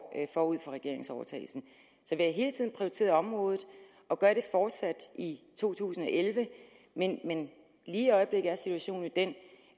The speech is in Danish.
forud for regeringsovertagelsen så vi har hele tiden prioriteret området og gør det fortsat i to tusind og elleve men lige i øjeblikket er situationen jo den